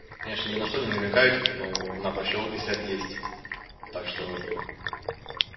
я же ни на что не намекаю типо ну на борщаговке свет есть так что